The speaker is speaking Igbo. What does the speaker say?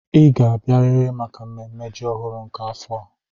Ị ga-abịarịrị maka mmemme ji ọhụrụ nke afọ a.